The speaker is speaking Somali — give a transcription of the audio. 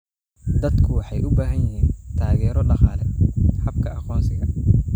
Dadku waxay u baahan yihiin taageero dhaqaale habka aqoonsiga.